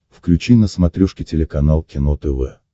включи на смотрешке телеканал кино тв